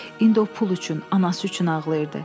İndi o pul üçün, anası üçün ağlayırdı.